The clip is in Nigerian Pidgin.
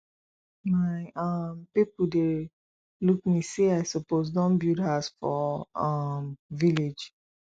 my um pipo dey look me sey i suppose don build house for um village